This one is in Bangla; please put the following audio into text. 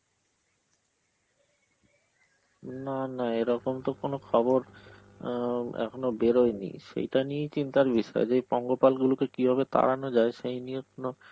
না না এরকম তো কোন খবর আঁ এখনো বেরোয়নি, সেটা নিয়ে চিন্তার বিষয় যে পঙ্গপাল গুলোকে কিভাবে তাড়ানো যায় সেই নিয়ে এখনো~